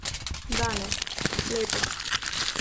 Danes, letos.